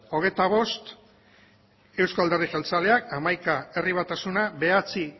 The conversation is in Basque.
hogeita bost euzko alderdi jeltzaleak hamaika herri batasuna bederatzi